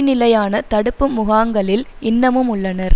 நிலையான தடுப்பு முகாங்களில் இன்னமும் உள்ளனர்